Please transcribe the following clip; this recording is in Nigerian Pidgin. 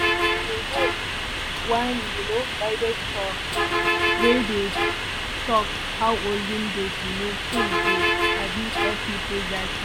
go one um guided tour wey dey talk how olden days um tools dey um help people that time.